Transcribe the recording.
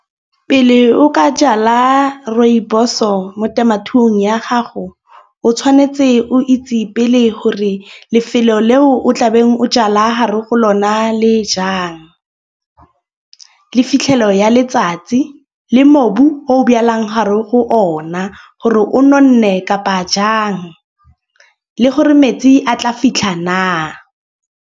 Pele o ka jala rooibos-o mo temothuong ya gago. O tshwanetse o itse pele gore lefelo leo o tlabeng o jala hare go lona le fitlhelelo ya letsatsi le mobu o beelang gare go ona. Gore o nonne kapa jang le gore metsi a tla fitlha na.